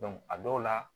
a dɔw la